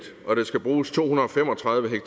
og der skal bruges to hundrede og fem og tredive